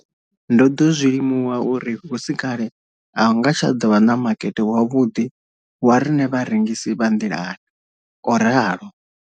Ndo ḓo zwi limuwa uri hu si kale a hu nga tsha ḓo vha na makete wavhuḓi wa riṋe vharengisi vha nḓilani, o ralo.